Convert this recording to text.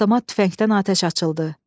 Avtomat tüfəngdən atəş açıldı.